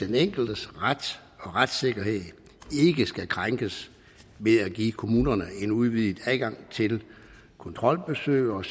den enkeltes ret og retssikkerhed ikke skal krænkes ved at give kommunerne en udvidet adgang til kontrolbesøg og